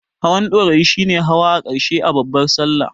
Hawan Ɗorayi shi ne hawa na ƙarshe a babbar Sallah.